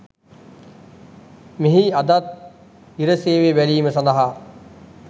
මෙහි අදත් ඉර සේවය බැලීම සඳහා